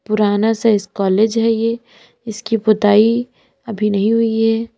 पुराना सा इस कॉलेज है ये इसकी पुताई अभी नहीं हुई है।